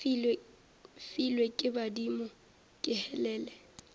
filwe ke badimo be helele